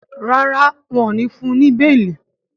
ràrá wón ní fún ní beeli.